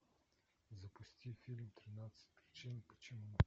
запусти фильм тринадцать причин почему